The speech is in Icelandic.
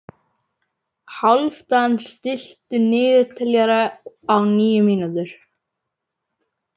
Hálfdan, stilltu niðurteljara á níu mínútur.